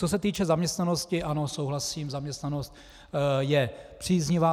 Co se týká zaměstnanosti, ano, souhlasím, zaměstnanost je příznivá.